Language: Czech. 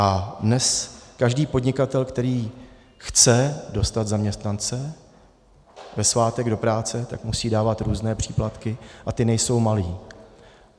A dnes každý podnikatel, který chce dostat zaměstnance ve svátek do práce, tak musí dávat různé příplatky a ty nejsou malé.